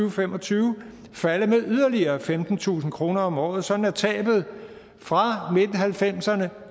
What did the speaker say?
og fem og tyve falde med yderligere femtentusind kroner om året sådan at tabet fra nitten halvfemserne